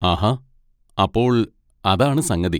ആഹാ, അപ്പോൾ അതാണ് സംഗതി.